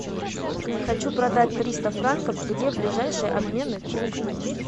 хочу продать триста франков где ближайший обменный пункт